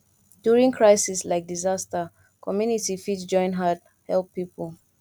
during crisis like disaster community fit join hand help pipo